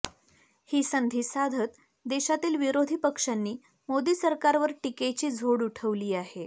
ही संधी साधत देशातील विरोधी पक्षांनी मोदी सरकारवर टीकेची झोड उठवली आहे